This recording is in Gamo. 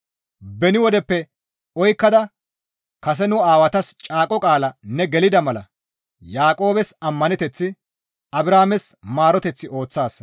Beni wodeppe oykkada kase nu aawatas caaqo qaala ne gelida mala Yaaqoobes ammaneteth Abrahaames maaroteth ooththaasa.